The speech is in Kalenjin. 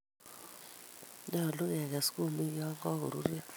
Nyolu keges kumik yon kagoruryo